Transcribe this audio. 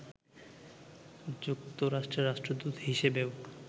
যুক্তরাষ্ট্রের রাষ্ট্রদূত হিসেবেও